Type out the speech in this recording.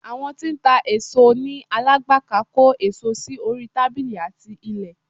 Àwọn tí ń ta èso ní. Alágbàká kó èso sí orí tábílì àti ilẹ̀